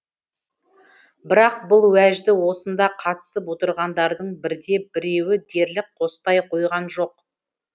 бірақ бұл уәжді осында қатысып отырғандардың бірде біреуі дерлік қостай қойған жоқ